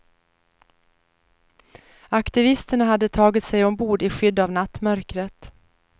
Aktivisterna hade tagit sig ombord i skydd av nattmörkret.